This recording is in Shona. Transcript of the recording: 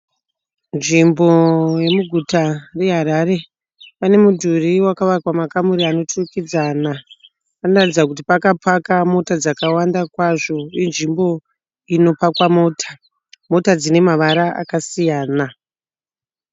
Nzvimbo yemuguta yeharare, pane mudhuri vakavakwa makamuri anoturikidzana, panoratidza kuti pakapaka mota dzakawanda kwazvo, inzvimbo inopakwa mota, mota dzine mavara akasiyana.